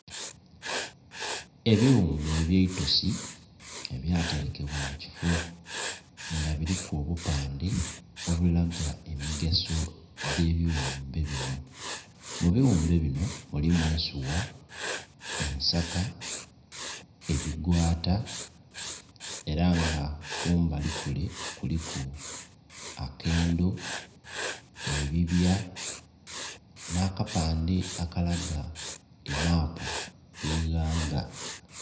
Ebighumbe ebye itosi ebya terekebwa mu kifoo nga buliku obupande obulaga emigaso dhe bighumbe binho mu bighumbe binho mulimu ensugha, ensaka, ebigwata era nga kumbali kule kuliku akendo, ebibya nha kapande akalaga emapu ye eighanga.